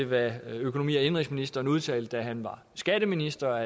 hvad økonomi og indenrigsministeren udtalte da han var skatteminister